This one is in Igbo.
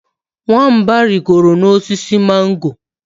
Nwamba rigoro n’osisi mango